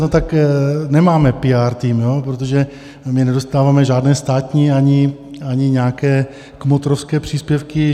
No tak nemáme píár tým, protože my nedostáváme žádné státní ani nějaké kmotrovské příspěvky.